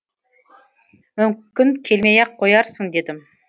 мүмкін келмей ақ қоярсың дедім